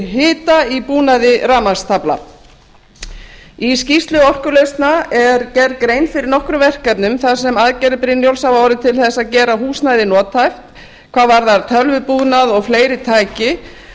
hita í búnaði rafmagnstaflna í skýrslu orkulausna er gerð grein fyrir nokkrum verkefnum þar sem aðgerðir brynjólfs hafa orðið til þess að gera húsnæði nothæft hvað varðar tölvubúnað og fleiri tæki